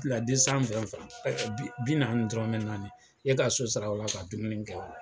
Fila bi naani ni dɔrɔnmɛ naani, e ka so sara o la, ka dumuni kɛ